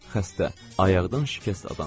Xəstə, ayaqdan şikəst adam.